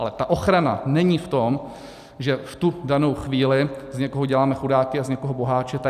Ale ta ochrana není v tom, že v tu danou chvíli z někoho děláme chudáky a z někoho boháče.